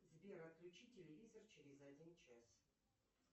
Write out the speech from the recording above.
сбер отключи телевизор через один час